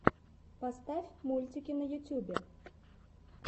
поставь мультики на ютубе